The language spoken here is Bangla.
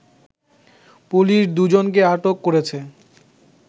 পুলিশ দুজনকে আটক করেছে